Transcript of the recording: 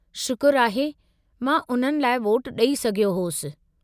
शुक्रु आहे, मां उन्हनि लाइ वोटु ॾेई सघियो होसि।